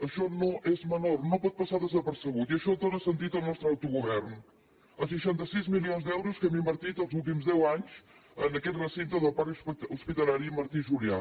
això no és menor no pot passar desapercebut i això dóna sentit al nostre autogovern als seixanta sis milions d’euros que hem invertit els últims deu anys en aquest recinte del parc hospitalari martí i julià